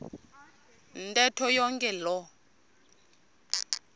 ntetho yonke loo